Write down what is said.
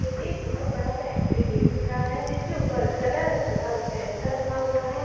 एक बहुत बड़ा सा एंट्री गेट दिख रहा है जिसके ऊपर सदर अस्पताल सहरसा लिखा हुआ है।